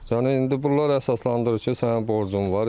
Yəni indi bunlar əsaslandırır ki, sənin borcun var.